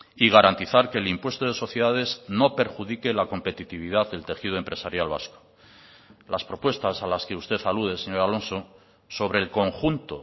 y garantizar que el impuesto de sociedades no perjudique la competitividad del tejido empresarial vasco las propuestas a las que usted alude señor alonso sobre el conjunto